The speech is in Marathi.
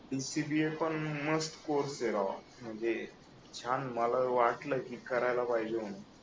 DCBA पण मस्त कोर्स आहे राव म्हणजे छान मला वाटलं की करायला पाहिजे म्हणून